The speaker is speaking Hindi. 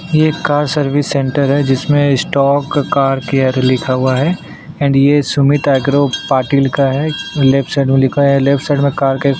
ये एक कार सर्विस सेंटर है जिसमें स्टॉक कार केयर लिखा हुआ है एंड ये सुमित एग्रो पाटील का है लेफ्ट साइड में लिखा है लेफ्ट साइड में कार के --